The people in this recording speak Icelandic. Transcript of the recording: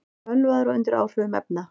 Ölvaður og undir áhrifum efna